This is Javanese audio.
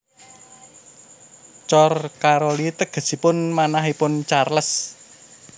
Cor Caroli tegesipun manahipun Charles